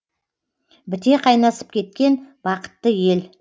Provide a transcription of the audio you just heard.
біте қайнасып кеткен бақытты ел